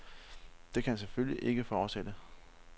Det kan selvfølgelig ikke fortsætte.